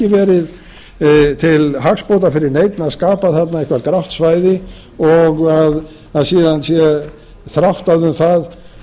verið til hagsbóta fyrir neinn að skapa þarna eitthvað grátt svæði og það sé síðan þráttað um það